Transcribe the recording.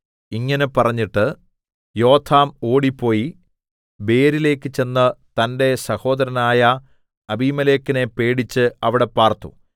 ഇങ്ങനെ പറഞ്ഞിട്ട് യോഥാം ഓടിപ്പോയി ബേരിലേക്ക് ചെന്ന് തന്റെ സഹോദരനായ അബീമേലെക്കിനെ പേടിച്ച് അവിടെ പാർത്തു